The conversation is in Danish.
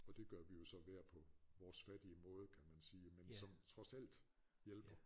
Og det gør vi jo så hver på vores fattige måde kan man sige men som trods alt hjælper